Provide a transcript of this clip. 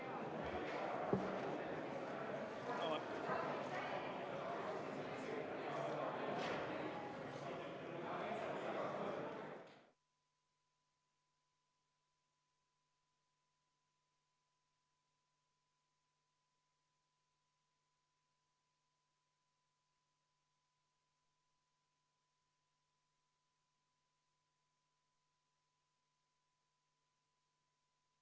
Panen hääletusele Eesti Reformierakonna fraktsiooni ja Sotsiaaldemokraatliku Erakonna fraktsiooni ettepaneku Riigikogu otsuse "Rahvahääletuse korraldamine abielu mõiste küsimuses" eelnõu 288 esimesel lugemisel tagasi lükata.